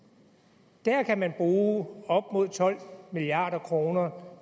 det er en kan man bruge op mod tolv milliard kroner